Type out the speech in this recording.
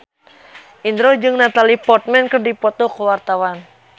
Indro jeung Natalie Portman keur dipoto ku wartawan